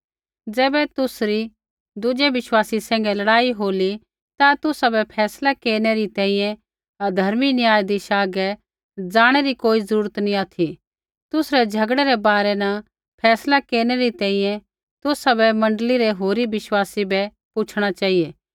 ज़ैबै तुसरा दुज़ै विश्वासी सैंघै लड़ाई होली ता तुसाबै फैसला केरनै री तैंईंयैं अधर्मी न्यायधीशा हागै ज़ाणै री कोई ज़रूरत नी ऑथि तुसरै झ़गड़ै रै बारै न फैसला केरनै री तैंईंयैं तुसाबै मण्डली रै होरी विश्वासी बै पूछ़णा चेहिऐ